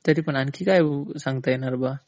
तरीपण आणखी काय सांगता येईल?